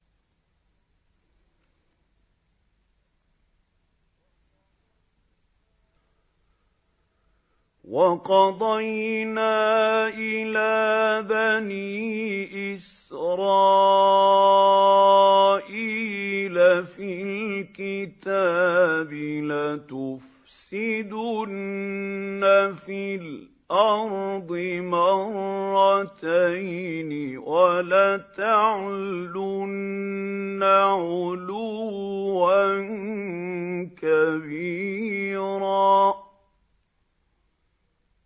وَقَضَيْنَا إِلَىٰ بَنِي إِسْرَائِيلَ فِي الْكِتَابِ لَتُفْسِدُنَّ فِي الْأَرْضِ مَرَّتَيْنِ وَلَتَعْلُنَّ عُلُوًّا كَبِيرًا